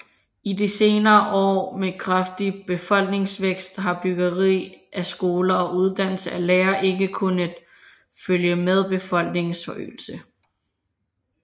I de senere år med kraftig befolkningsvækst har byggeri af skoler og uddannelse af lærere ikke kunnet følge med befolkningsforøgelsen